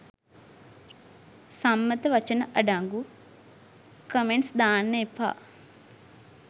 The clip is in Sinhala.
සම්මත වචන අඩංගු කමෙන්ට්ස් දාන්න එපා.